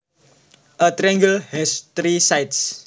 A triangle has three sides